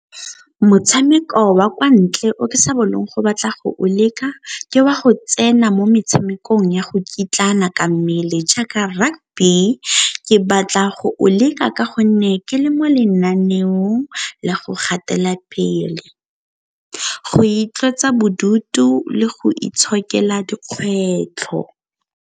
Motshameko wa kwa ntle o ke sa bolong go batla go o leka, ke wa go tsena mo metshamekong ya go kitlana ka mmele jaaka rugby ke batla go o leka ka gonne ke le mo lenaneong la go gatela pele, go itlosa bodutu le go itshokela dikgwetlho.